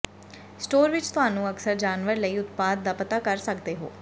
store ਵਿੱਚ ਤੁਹਾਨੂੰ ਅਕਸਰ ਜਾਨਵਰ ਲਈ ਉਤਪਾਦ ਦਾ ਪਤਾ ਕਰ ਸਕਦੇ ਹੋ